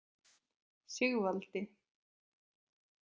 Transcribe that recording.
Sigvaldi